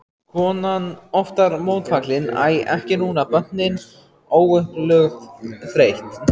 Konan oftar mótfallin, æ ekki núna, börnin, óupplögð, þreytt.